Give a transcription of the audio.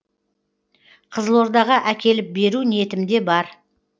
қызылордаға әкеліп беру ниетім де бар